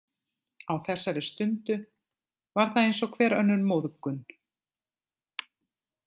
Á þessari stundu var það eins og hver önnur móðgun.